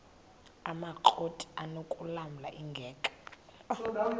amakrot anokulamla ingeka